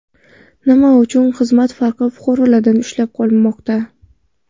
Nima uchun xizmat haqi fuqarolardan ushlab qolinmoqda?